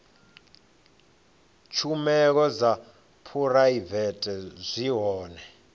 tshumelo dza phuraivete zwi hone